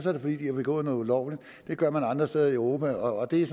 er det fordi de har begået noget ulovligt det gør man andre steder i europa og det er